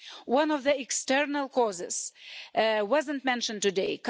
One of the external causes wasn't mentioned today.